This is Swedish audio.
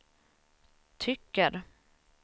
tycker